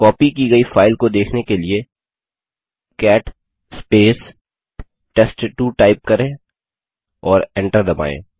copy की गई file को देखने के लिए कैट टेस्ट2 टाइप करें और एंटर दबायें